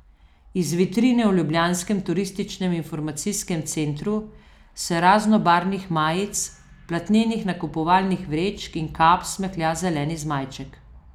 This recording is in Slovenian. Iz vitrine v ljubljanskem Turističnem informacijskem centru se z raznobarvnih majic, platnenih nakupovalnih vrečk in kap smehlja zeleni zmajček.